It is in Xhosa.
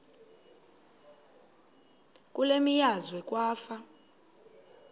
kule meazwe kwafa